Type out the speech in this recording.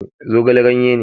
Zogale ganye ne